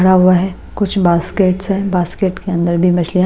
भरा हुआ है कुछ बास्केट्स हैं बास्केट के अंदर भी मछलियां--